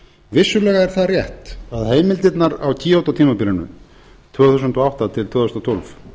vissulega er það rétt að heimildirnar á kyoto tímabilinu tvö þúsund og átta til tvö þúsund og tólf